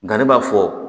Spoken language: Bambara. Nka ne b'a fɔ